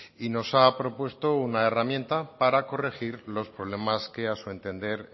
y nos ha propuesto una herramienta para corregir los problemas que a su entender